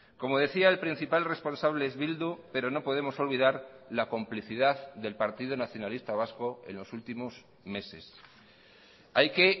como decía el principal responsable es bildu pero no podemos olvidar la complicidad del partido nacionalista vasco en los últimos meses hay que